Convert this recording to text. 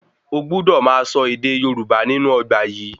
O gbúdò máa sọ ède Yorùbá nínú ọgbà yìí